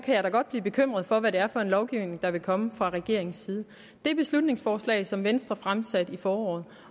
godt blive bekymret for hvad det er for en lovgivning der vil komme fra regeringens side det beslutningsforslag som venstre fremsatte i foråret